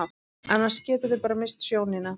Annars geturðu bara misst sjónina.